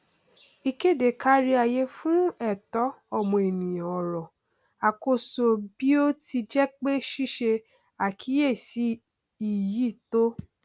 ìkéde káríayé fún ẹtọ ọmọnìyàn ọrọ àkọsọ bí ó ti jẹ pé ṣíṣe àkíyèsí iyì tó